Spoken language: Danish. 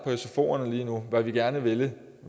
sfoerne lige nu hvad vi gerne ville